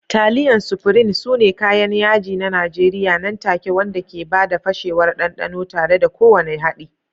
Taliyan Sufrin sune kayan yaji na Najeriya nan take wanda ke ba da fashewar ɗanɗano tare da kowane haɗi.